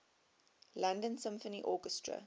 london symphony orchestra